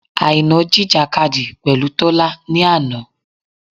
Àìná jìjìkadì pẹ̀lú Tọ́lá ni àná.